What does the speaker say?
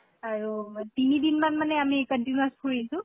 আৰু তিনিদিন মান মানে আমি continuous ফুৰিছো